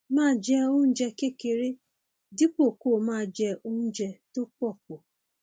máa jẹ oúnjẹ kéékèèké dípò kó o máa jẹ oúnjẹ tó pọ pọ